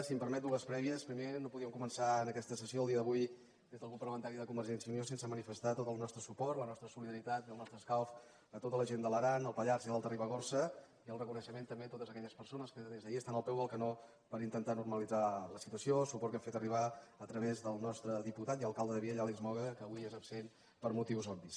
si em permet dues prè·vies primer no podíem començar en aquesta sessió el dia d’avui des del grup parlamentari de convergència i unió sense manifestar tot el nostre suport la nostra solidaritat i el nostre escalf a tota la gent de l’aran el pallars i l’alta ribagorça i el reconeixement també a totes aquelles persones que des d’ahir estan al peu del canó per intentar normalitzar la situació el suport que hem fet arribar a través del nostre diputat i alcalde de vielha àlex moga que avui és absent per motius obvis